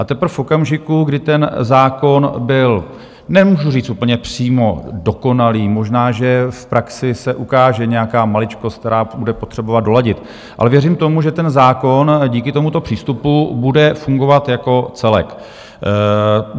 A teprve v okamžiku, kdy ten zákon byl, nemůžu říct úplně přímo dokonalý, možná že v praxi se ukáže nějaká maličkost, která bude potřebovat doladit, ale věřím tomu, že ten zákon díky tomuto přístupu bude fungovat jako celek.